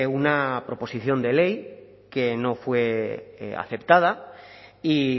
una proposición de ley que no fue aceptada y